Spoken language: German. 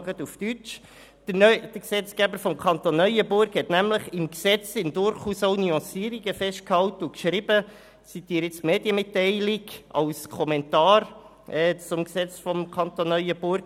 Ich beziehe mich jetzt auf die Medienmitteilung des Bundesgerichts zu diesem Entscheid.